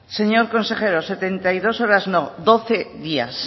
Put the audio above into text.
señor consejero setenta y dos horas no doce días